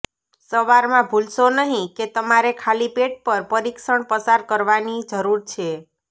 સવારમાં ભૂલશો નહીં કે તમારે ખાલી પેટ પર પરીક્ષણ પસાર કરવાની જરૂર છે